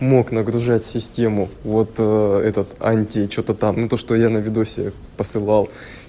мог нагружать систему вот этот анти что-то там ну то что я на видосе посылал